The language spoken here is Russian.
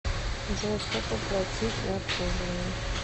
джой сколько платить за обслуживание